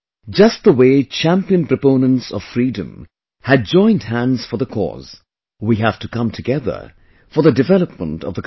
Just the way champion proponents of Freedom had joined hands for the cause, we have to come together for the development of the country